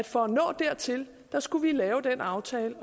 for at nå dertil skulle lave den aftale